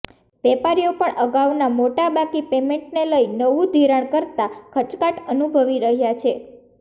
વેપારીઓ પણ અગાઉના મોટા બાકી પેમેન્ટને લઈ નવંુ ધિરાણ કરતા ખચકાટ અનુભવી રહ્યા છે